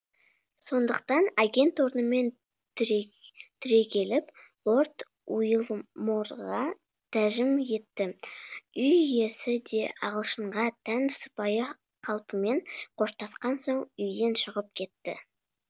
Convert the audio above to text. сондықтан агент орнымен түрегеліп лорд уилморға тәжім етті үй иесі де ағылшынға тән сыпайы қалпымен қоштасқан соң үйден шығып кетті